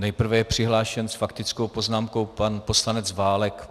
Nejprve je přihlášen s faktickou poznámkou pan poslanec Válek.